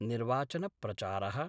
निर्वाचन प्रचारः